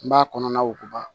N b'a kɔnɔna wokuba